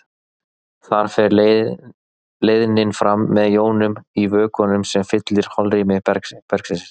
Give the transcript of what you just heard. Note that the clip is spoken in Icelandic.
Þar fer leiðnin fram með jónum í vökvanum sem fyllir holrými bergsins.